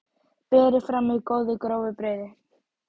Berið fram með góðu, grófu brauði.